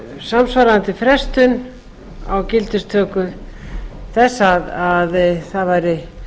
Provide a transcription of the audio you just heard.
samsvarandi frestun á gildistöku þess að það væri